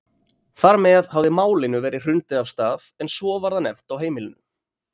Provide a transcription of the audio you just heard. Þar með hafði Málinu verið hrundið af stað en svo var það nefnt á heimilinu.